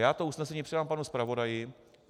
Já to usnesení předám panu zpravodaji.